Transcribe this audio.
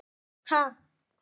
Niður eftir hvert?